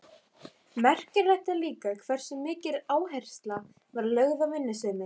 Merkilegt er líka hversu mikil áhersla var lögð á vinnusemi.